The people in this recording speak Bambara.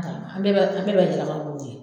An bɛɛ b'a an bɛɛ b'a